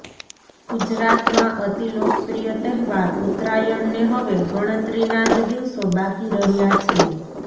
ગુજરાતમાં અતિલોકપ્રિય તહેવાર ઉત્તરાયણને હવે ગણતરીનાં જ દિવસો બાકી રહ્યા છે